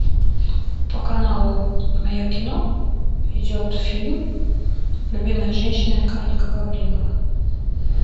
по каналу мое кино идет фильм любимая женщина механика гаврилова